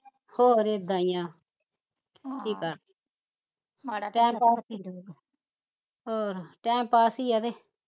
ਹੋਰ ਇੱਦਾਂ ਈ ਆ ਮਾੜਾ ਹੋਰ time pass ਈ ਐ ਕੇ